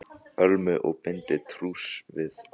Ölmu að binda trúss við Lása.